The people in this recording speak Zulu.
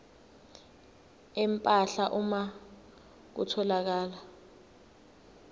empahla uma kutholakala